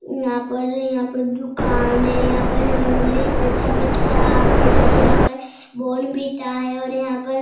यहाँ पर यहाँ पर दुकान है यहाँ पर हॉर्लिक्स है च्यवनप्राश है और यहाँ पर बॉर्न्विटा हैं और यहाँ पे --